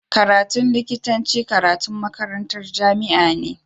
Karatun likitanci karatun makarantar jamia ne